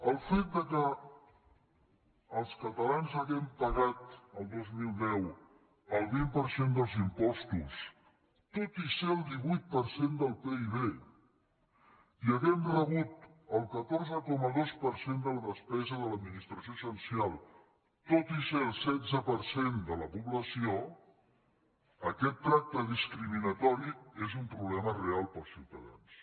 el fet que els catalans haguem pagat el dos mil deu el vint per cent dels impostos tot i ser el divuit per cent del pib i haguem rebut el catorze coma dos per cent de la despesa de l’administració central tot i ser el setze per cent de la població aquest tracte discriminatori és un problema real per als ciutadans